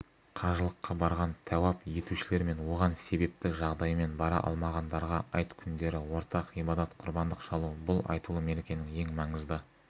қажылыққа барған тәуап етушілер мен оған себепті жағдаймен бара алмағандарға айт күндері ортақ ғибадат құрбандық шалу бұл айтулы мерекенің ең маңызды